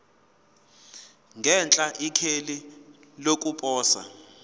ngenhla ikheli lokuposa